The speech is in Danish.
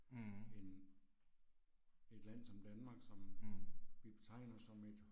Mh. Mh